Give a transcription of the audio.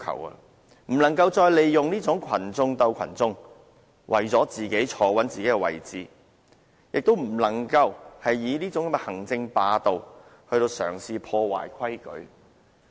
特首不能再利用"群眾鬥群眾"方式，來穩住他特首的位置；亦不能嘗試以行政霸道來破壞規矩。